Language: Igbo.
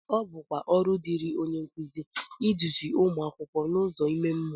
ọ bụkwa ọrụ dịịrị onye nkụzi iduzi ụmụ akwụkwọ n’ụzọ ime mmụọ